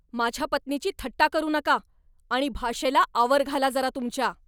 माझ्या पत्नीची थट्टा करू नका! आणि भाषेला आवर घाला जरा तुमच्या!